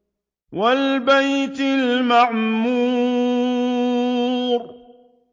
وَالْبَيْتِ الْمَعْمُورِ